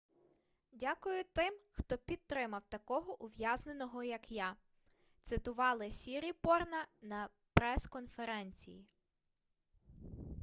дякую тим хто підтримав такого ув'язненого як я - цитували сіріпорна на прес-конференції